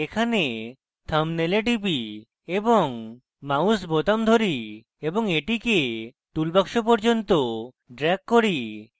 এখানে thumbnail এ টিপি এবং mouse বোতাম ধরি এবং এটিকে টুল বাক্স পর্যন্ত ড্রেগ করি